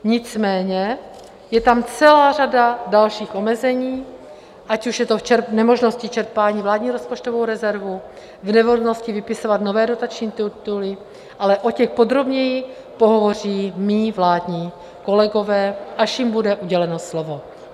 Nicméně je tam celá řada dalších omezení, ať už je to v nemožnosti čerpání vládní rozpočtové rezervy, v nemožnosti vypisovat nové dotační tituly, ale o těch podrobněji pohovoří mí vládní kolegové, až jim bude uděleno slovo.